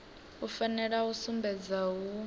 u fanela u sumbedza hu